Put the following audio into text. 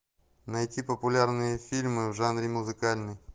найти популярные фильмы в жанре музыкальный